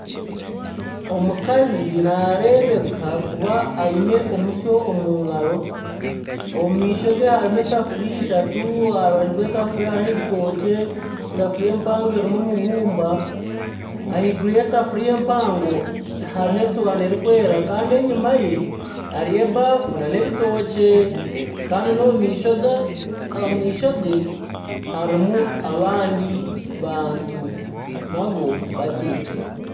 Omukazi narebeka kuba aine omusyo omungaro ,omu maisho gye hariho esafuriya ishatu aharubaju rw'esafuriya hariho ebitookye, esafuriya empango erimu omubumba ahaiguru y'esafiriya empango hariho esuwaani erikwera Kandi enyuma ye hariyo ebaafu nana ebitookye Kandi nana omumaisho gye harimu nana abandi bantu Kandi batekire.